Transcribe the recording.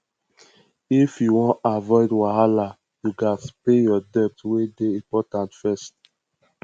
if you wan avoid wahala you gats pay your debt wey dey important first